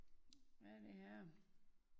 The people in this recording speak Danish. Hvad er det her?